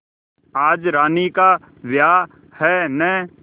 आज रानी का ब्याह है न